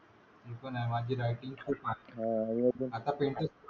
हो पण माझी रायटिंग खूप खास आहे आणि आता पेंटिंग ,